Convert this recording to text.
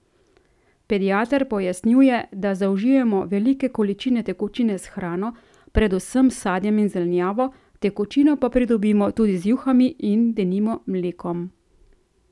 Pediater pojasnjuje, da zaužijemo velike količine tekočine s hrano, predvsem s sadjem in zelenjavo, tekočino pa pridobimo tudi z juhami in denimo mlekom.